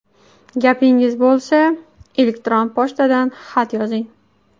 Gapingiz bo‘lsa, elektron pochtadan xat yozing.